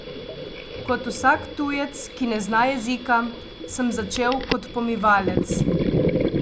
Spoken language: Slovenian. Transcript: Kot vsak tujec, ki ne zna jezika, sem začel kot pomivalec.